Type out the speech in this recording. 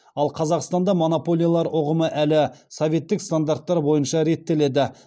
ал қазақстанда монополиялар ұғымы әлі советтік стандарттар бойынша реттеледі